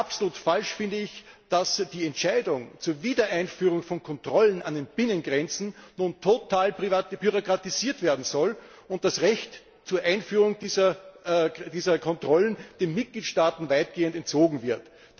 Doch absolut falsch finde ich, dass die Entscheidung zur Wiedereinführung von Kontrollen an den Binnengrenzen nun total bürokratisiert werden soll und das Recht zur Einführung dieser Kontrollen den Mitgliedstaaten weitgehend entzogen wird.